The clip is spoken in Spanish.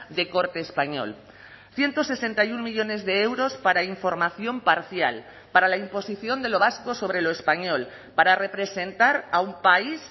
de corte español ciento sesenta y uno millónes de euros para información parcial para la imposición de lo vasco sobre lo español para representar a un país